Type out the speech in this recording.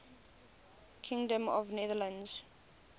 kingdom of the netherlands